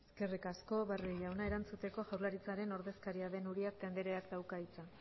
eskerrik asko barrio jauna erantzuteko jaurlaritzaren ordezkaria den uriarte andreak dauka hitza